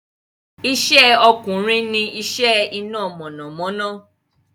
Ìṣẹ́ ọkùnrin ní iṣẹ́ iná mọ̀namọ́ná